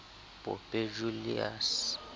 pope julius